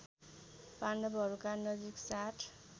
पाण्डवहरूका नजिक सात